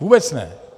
Vůbec ne!